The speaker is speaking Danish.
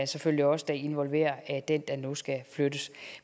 selvfølgelig også involverer den der nu skal flyttes